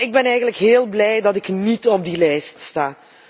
Wel, ik ben eigenlijk heel blij dat ik niet op die lijst sta.